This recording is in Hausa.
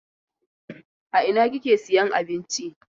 A ina kike sayan abinci?